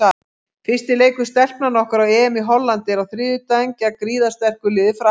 Fyrsti leikur Stelpnanna okkar á EM í Hollandi er á þriðjudaginn gegn gríðarsterku liði Frakklands.